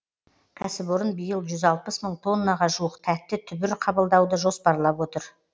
кәсіпорын биыл жүз алпыс мың тоннаға жуық тәтті түбір қабылдауды жоспарлап отыр